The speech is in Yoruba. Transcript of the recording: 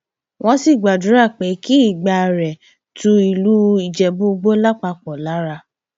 wọn sì gbàdúrà pé kí ìgbà rẹ tu ìlú ìjẹbúìgbò lápapọ lára